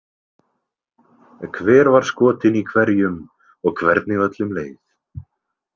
Hver var skotin í hverjum og hvernig öllum leið.